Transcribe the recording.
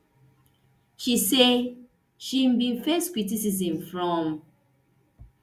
she say she bin face criticism from